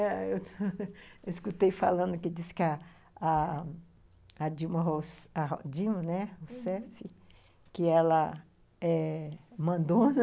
Eu escutei falando que diz que a a Dilma Rou, a Dilma, né, Rousseff, uhum, que ela é... mandona